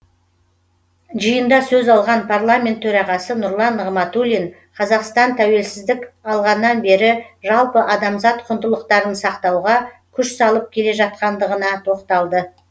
жиында сөз алған парламент төрағасы нұрлан нығматулин қазақстан тәуелсіздік алғаннан бері жалпы адамзат құндылықтарын сақтауға күш салып келе жатқандығына тоқталды